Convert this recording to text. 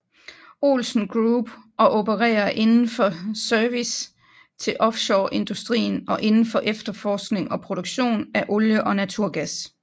Olsen Group og opererer indenfor service til offshoreindustrien og indenfor efterforskning og produktion af olie og naturgas